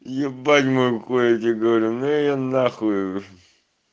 ебать мой хуй я тебе говорю ну её на хую